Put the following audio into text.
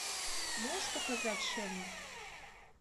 можешь показать шерлок